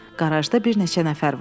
Qarajda bir neçə nəfər vardı.